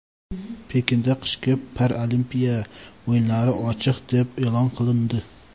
Pekinda qishki Paralimpiya o‘yinlari ochiq deb e’lon qilindi.